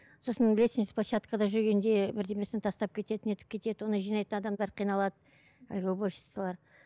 сосын лестничный площадкада жүргенде бірдемесін тастап кетеді нетіп кетеді оны жинайтын адамдар қиналады әлгі уборщицалар